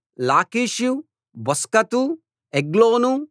లాకీషు బొస్కతు ఎగ్లోను